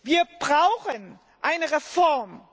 Wir brauchen eine Reform.